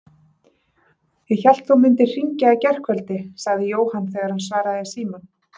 Ég hélt þú mundir hringja í gærkvöldi sagði Jóhann þegar hann svaraði í símann.